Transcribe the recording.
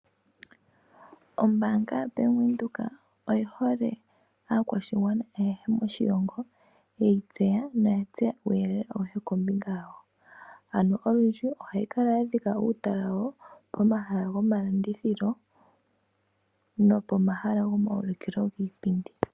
Ombaanga ya Bank Windhoek oya hala aakwashigwana ayehe moshilongo yeyi tseya noya tseya uuyelele awuhe kombinga yawo. Ano olundji ohayi kala ya dhika uutala wayo pomahala gomalandithilo nopo mahala goma wulikilo giipindi.